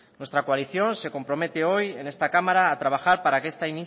nuestra coalición se compromete hoy en esta cámara a trabajar para que